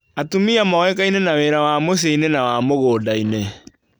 Atumia moĩkaine na wĩra wa mũcii-inĩ na mũgũnda-inĩ.